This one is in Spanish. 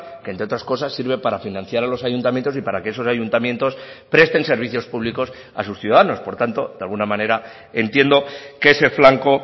que entre otras cosas sirve para financiar a los ayuntamientos y para que esos ayuntamientos presten servicios públicos a sus ciudadanos por tanto de alguna manera entiendo que ese flanco